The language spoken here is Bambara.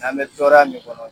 An bɛ tɔɔrɔya min kɔnɔ